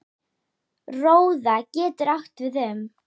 Róða getur átt við um